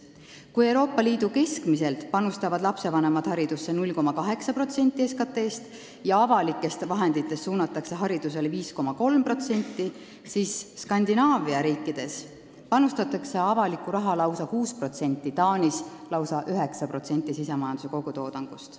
Kui Euroopa Liidus keskmiselt panustavad lastevanemad haridusse 0,8% SKT-st ja avalikest vahenditest eraldatakse haridusele 5,3%, siis Skandinaavia riikides panustatakse avalikku raha 6%, Taanis aga lausa 9% SKT-st.